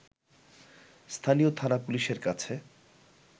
স্থানীয় থানা পুলিশের কাছে